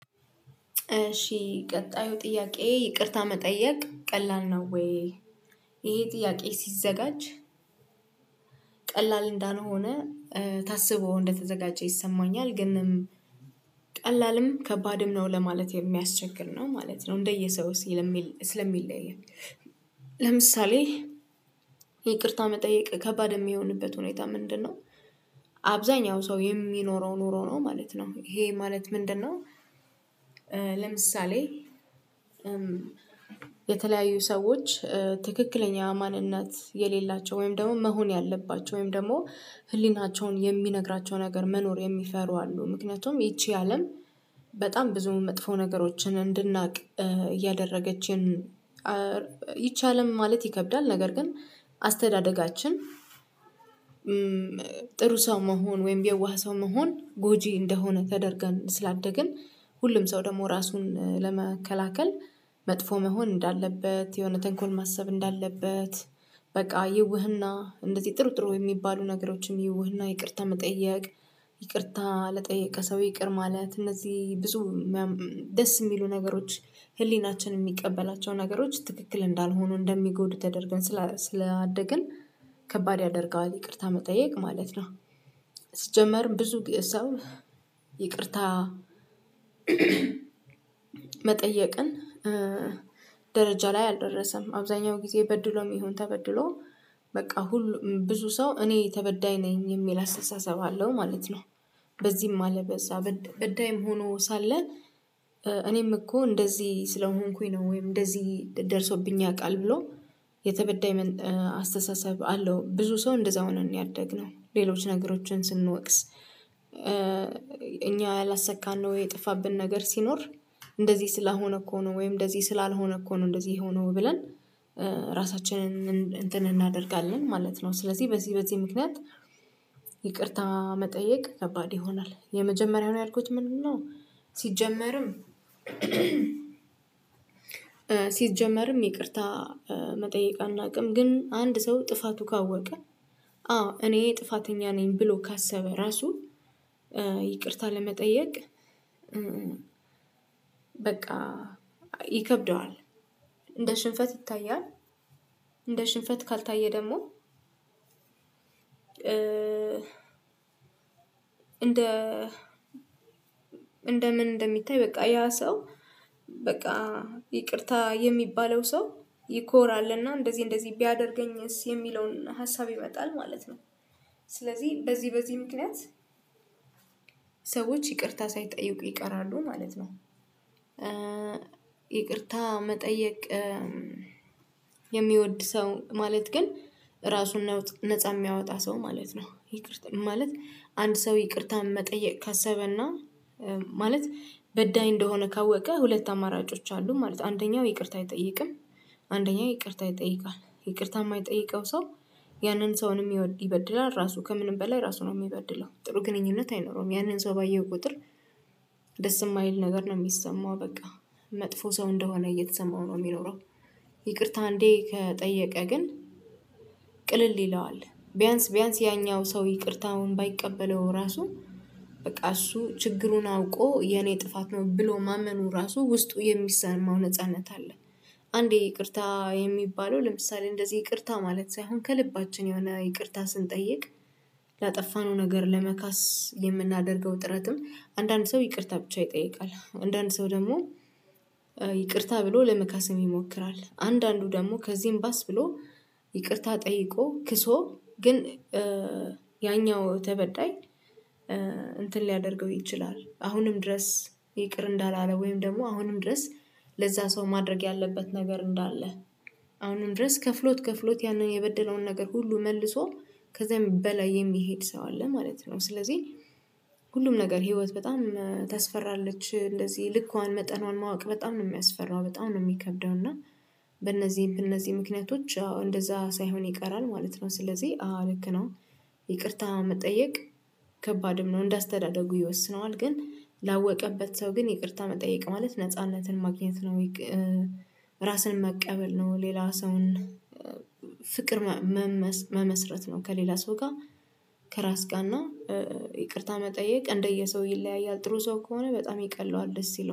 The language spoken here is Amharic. እሺ ቀጣዩ ጥያቄ ይቅርታ መጠየቅ ቀላል ነው ወይ? ይሄ ጥያቄ ሲዘጋጅ ቀላል እንዳልሆነ ታስቦ እንደተዘጋጀ ይሰማኛል ግን ቀላልም ከባድም ነው ለማለት የሚያስቸግር ነው ማለት ነው። እንደየ ሰውስ ስለሚለ ስለሚለያይ ለምሳሌ ይቅርታ መጠየቅ ከባድ የሚሆንበት ሁኔታ ምንድነው? አብዛኛው ሰው የሚኖረው ኑሮ ነው ማለት ነው። ይሄ ማለት ምንድንነው? ለምሳሌ የተለያዩ ሰዎች ትክክለኛ ማንነት የሌላቸው ወይም ደግሞ መሆን ያለባቸው ወይም ደግሞ ህሊናቸውን የሚነግራቸው ነገር መኖር የሚፈሩ አሉ። ምክንያቱም ይቺ አለም በጣም ብዙ መጥፎ ነገሮችን እንድናቅ እያደረገችን ይች አለም ማለት ይከብዳል። ነገር ግን አስተዳደጋችን ጥሩ ሰው መሆን ወይም የዋህ ሰው መሆን ጎጂ እንደሆነ ተደርገን ስላደግን ሁሉም ሰው ደግሞ ራሱን ለመከላከል መጥፎ መሆን እንዳለበት የሆነ ተንኮል ማሰብ እንዳለበት። በቃ ይውህና እንደዚህ ጥሩ ጥሩ የሚባሉ ነገሮችም ይውህና ይቅርታ መጠየቅ ይቅርታ ለጠየቀ ሰው ይቅር ማለት እነዚህ ብዙ ደስ የሚሉ ነገሮች ህሊናችን የሚቀበላቸው ነገሮች ትክክል እንዳልሆኑ እንደሚጎዱ ተደርገን ስላስላደግን ከባድ ያደርገዋል ይቅርታ መጠየቅ ማለት ነው። ሲጀመርም ብዙ ግ ሰው ይቅርታ መጠየቅን ደረጃ ላይ አልደረሰም አብዛኛው ጊዜ በድሎም ይሁን ተበድሎ በቃ ሁሉ ብዙ ሰው እኔ ተበዳይ ነኝ የሚል አስተሳሰብ አለው ማለት ነው። በዚህም አለበዛ በዳይም ሆኖ ሳለ እኔም እኮ እንደዚህ ስለሆንኩኝ ነው ወይም እንደዚህ ደርሶብኝ ያውቃል ብሎ የተበዳይ ምን አስተሳሰብ አለው ብዙ ሰው እንደዛ ሆነን ነው ያደግነው ሌሎች ነገሮችን ስንወቅስ እኛ ያላሰካነው የጠፋብን ነገር ሲኖር እንደዚህ ስለሆነ እኮ ነው ወይም እንደዚህ ስላልሆነ እኮ ነው እንደዚህ የሆነው ብለን ራሳችንን እንትን እናደርጋለን ማለት ነው። ስለዚህ በዚህ በዚህ ምክንያት ይቅርታ መጠየቅ ከባድ ይሆናል የመጀመሪያውን ያልኩት ምንድን ነው? ሲጀመርም ሲጀመርም ይቅርታ መጠየቅ አናውቅም ግን አንድ ሰው ጥፋቱ ካወቀ አዎ እኔ ጥፋተኛ ነኝ ብሎ ካሰበ ራሱ ይቅርታ ለመጠየቅ በቃ ይከብደዋል እንደ ሽንፈት ይታያል። እንደ ሽንፈት ካልታየ ደግሞ እንደ እንደምን እንደሚታይ በቃ ያ ሰው በቃ ይቅርታ የሚባለው ሰው ይኮራልና እንደዚህ እንደዚህ ቢያደርገኝስ የሚለውን ሀሳብ ይመጣል ማለት ነው። ስለዚህ በዚህ በዚህ ምክንያት ሰዎች ይቅርታ ሳይጠይቁ ይቀራሉ ማለት ነው። ይቅርታ መጠየቅ የሚወድ ሰው ማለት ግን ራሱን ነውጥ ነፃ የሚያወጣ ሰው ማለት ነው። ይቅርታ ማለት አንድ ሰው ይቅርታ መጠየቅ ካሰበና ማለት በዳይ እንደሆነ ካወቀ ሁለት አማራጮች አሉ ማለት አንደኛው ይቅርታ አይጠይቅም። አንደኛ ይቅርታ ይጠይቃል ይቅርታ የማይጠይቀው ሰው ያንን ሰውንም ይወ ይበድላል ራሱ ከምንም በላይ ራሱ ነው የሚበድለው ጥሩ ግንኙነት አይኖረውም ያንን ሰው ባየው ቁጥር ደስ የማይል ነገር ነው የሚሰማው በቃ መጥፎ ሰው እንደሆነ እየተሰማው ነው የሚኖረው። ይቅርታ አንዴ ከጠየቀ ግን ቅልል ይለዋል ቢያንስ ቢያንስ ያኛው ሰው ይቅርታውን ባይቀበለው ራሱ በቃ እሱ ችግሩን አውቆ የኔ ጥፋት ነው ብሎ ማመኑ ራሱ ውስጡ የሚሰማው ነጻነት አለ። አንዴ ይቅርታ የሚባለው ለምሳሌ እንደዚህ ይቅርታ ማለት ሳይሆን ከልባችን የሆነ ይቅርታ ስንጠይቅ ላጠፋነው ነገር ለመካስ የምናደርገው ጥረትም አንዳንድ ሰው ይቅርታ ብቻ ይጠይቃል አንዳንድ ሰው ደግሞ ይቅርታ ብሎ ለመካሰም ይሞክራል አንዳንዱ ደግሞ ከዚህም ባስ ብሎ ይቅርታ ጠይቆ ክሶ ግን ያኛው ተበዳይ እንትን ሊያደርገው ይችላል አሁንም ድረስ ይቅር እንዳላለ ወይም ደግሞ አሁንም ድረስ ለዛ ሰው ማድረግ ያለበት ነገር እንዳለ አሁንም ድረስ ከፍሎት ከፍሎት ያንን የበደለውን ነገር ሁሉ መልሶ ከዛ በላይ የሚሄድ ሰው አለ ማለት ነው። ስለዚህ ሁሉም ነገር ህይወት በጣም ታስፈራለች እንደዚህ ልኳን መጠኗን ማወቅ በጣም ነው የሚያስፈራው በጣም ነው የሚከብደው እና በእነዚህ በእነዚህ ምክንያቶች አዎ እንደዛ ሳይሆን ይቀራል ማለት ነው ስለዚህ አዎ ልክ ነው። ይቅርታ መጠየቅ ከባድም ነው እንዳስተዳደጉ ይወስነዋል ግን ላወቀበት ሰው ግን ይቅርታ መጠየቅ ማለት ነጻነትን ማግኘት ነው። ይቅ ራስን መቀበል ነው። ሌላ ሰውን ፍቅር መመስ መመስረት ነው። ከሌላ ሰው ጋር ከራስ ጋር እና ይቅርታ መጠየቅ እንደየሰው ይለያያል ጥሩ ሰው ከሆነ በጣም ይቀለዋል ደስ ይለዋል